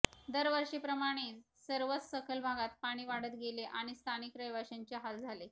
दरवर्षीप्रमाणे सर्वच सखल भागात पाणी वाढत गेले आणि स्थानिक रहिवाशांचे हाल झाले